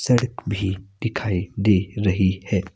सड़क भी दिखाई दे रही है।